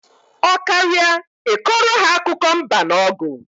Ọ karịa I kọrọ ha akụkọ mba na ọgụ